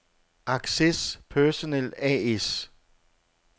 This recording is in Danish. Access Personel A/S